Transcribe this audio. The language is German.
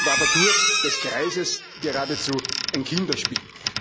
Dagegen ist die Quadratur des Kreises geradezu ein Kinderspiel.